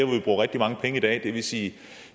vi bruger rigtig mange penge i dag det vil sige